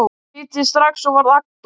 Ég hlýddi strax og varð agndofa.